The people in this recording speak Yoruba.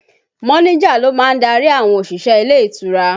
Mọ́níjà ló má ń darí àwọn òṣìṣẹ́ ilé ìtura